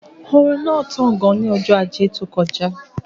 Òrùn náà tán gan ní ọjọ́ ajé tó kọjá